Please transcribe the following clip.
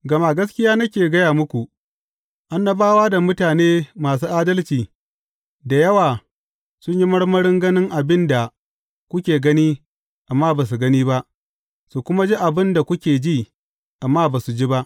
Gama gaskiya nake gaya muku, annabawa da mutane masu adalci da yawa sun yi marmarin ganin abin da kuke gani amma ba su gani ba, su kuma ji abin da kuke ji amma ba su ji ba.